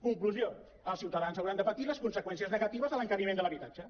conclusió els ciutadans hauran de patir les conseqüències negatives de l’encariment de l’habi·tatge